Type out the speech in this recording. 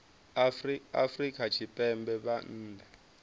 afrika tshipembe arali vha nnḓa